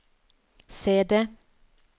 CD